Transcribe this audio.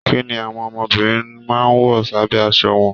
Kínní àwọn ọmọbìnrin máa n wọ s'abẹ aṣọ wọn?